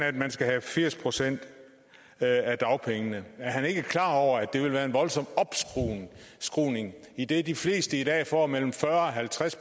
at man skal have firs procent af dagpengene er ordføreren ikke klar over at det vil være en voldsom opskruning idet de fleste i dag får mellem fyrre og halvtreds